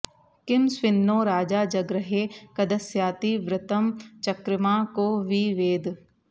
किं स्विन्नो राजा जगृहे कदस्याति व्रतं चकृमा को वि वेद